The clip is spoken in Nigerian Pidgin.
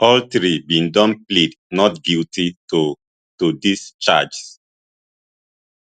all three bin don plead not guilty to to dis charges